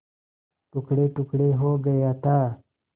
टुकड़ेटुकड़े हो गया था